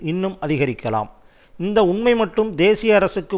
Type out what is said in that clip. இன்னும் அதிகரிக்கலாம் இந்த உண்மை மட்டுமே தேசிய அரசுக்கு